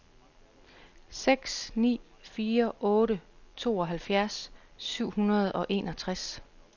seks ni fire otte tooghalvfjerds syv hundrede og enogtres